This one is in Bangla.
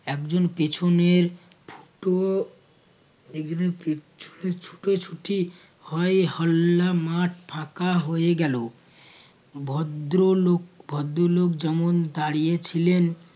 একজন পেছনের একজনের পেছনে ছুটোছুটি হই হল্লা মাঠ ফাঁকা হয়ে গেলো ভদ্র লোক ভদ্র লোক যেমন দাঁড়িয়ে ছিলেন